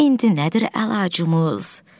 İndi nədir əlacımız?